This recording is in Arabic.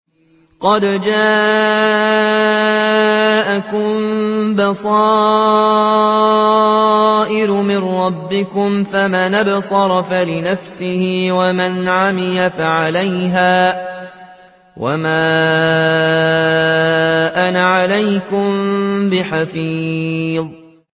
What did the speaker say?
قَدْ جَاءَكُم بَصَائِرُ مِن رَّبِّكُمْ ۖ فَمَنْ أَبْصَرَ فَلِنَفْسِهِ ۖ وَمَنْ عَمِيَ فَعَلَيْهَا ۚ وَمَا أَنَا عَلَيْكُم بِحَفِيظٍ